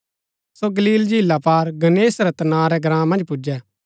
सो Galilee झीला पार Gennesaret नां रै ग्राँ मन्ज पुजै